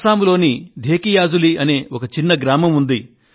అస్సాంలోని ధేకియాజులీ అనే ఒక చిన్న గ్రామం ఉంది